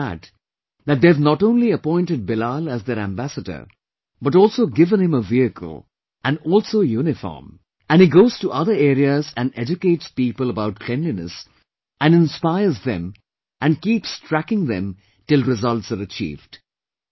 And I am glad that they have not only appointed Bilal as their ambassador but also given him a vehicle, and also a uniform and he goes to other areas and educates people about cleanliness and inspires them and keeps tracking them till results are achieved